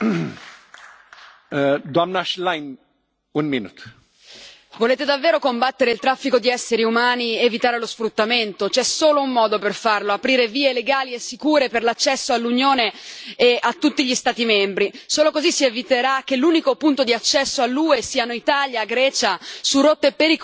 Signor Presidente, onorevoli colleghi, volete davvero combattere il traffico di esseri umani ed evitare lo sfruttamento? C'è solo un modo per farlo aprire vie legali e sicure per l'accesso all'Unione e a tutti gli Stati membri. Solo così si eviterà che l'unico punto di accesso all'UE siano Italia e Grecia su rotte pericolosissime affidate ai trafficanti.